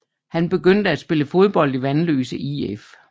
Han begyndte at spille fodbold i Vanløse IF